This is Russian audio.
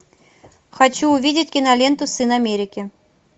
хочу увидеть киноленту сын америки